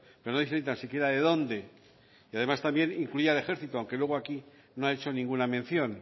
pero no dice ni tan siquiera de dónde y además incluye también al ejercito aunque luego aquí no ha hecho ninguna mención